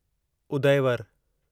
Udayvar